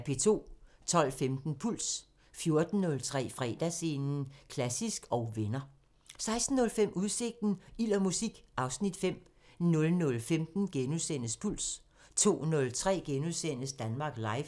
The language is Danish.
12:15: Puls 14:03: Fredagsscenen – Klassisk & venner 16:05: Udsigten – Ild og musik (Afs. 5) 00:15: Puls * 02:03: Danmark Live *